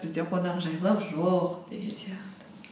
бізде қонақжайлылық жоқ деген сияқты